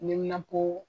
Neminanpo